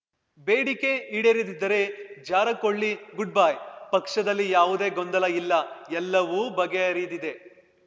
ಬೇಡಿಕೆ ಈಡೇರದಿದ್ದರೆ ಜಾರಕ್ಹೊಳಿ ಗುಡ್‌ಬೈ ಪಕ್ಷದಲ್ಲಿ ಯಾವುದೇ ಗೊಂದಲ ಇಲ್ಲ ಎಲ್ಲವೂ ಬಗೆಹರಿದಿದೆ